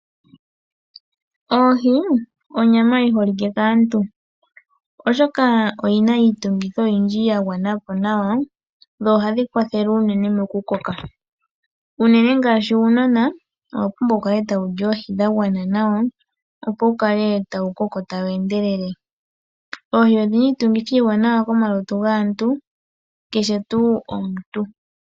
Oohi onyama yi holike kaantu, oshoka oyi na uutingithi oyindji ya gwana po nawa, dho ohadhi kwathele unene mokukoka, unene ngaashi uunona owa pumbwa wu kale tawu li oohi dha gwana nawa, opo wu kale tawu koko tawu endelele. Oohi odhi na iitungithi iiwanawa komalutu gaantu.